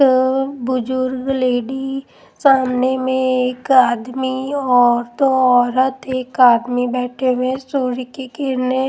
अ बुजुर्ग लेडी सामने में एक आदमी और दो औरत एक आदमी बैठे हुए सूर्य की किरने--